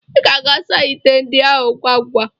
Ị ga-asa ite ndị ahụ ngwa ngwa.